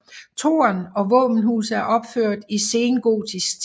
Tårn og våbenhus er opført i sengotisk tid